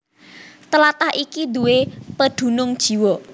Tlatah iki duwé pedunung jiwa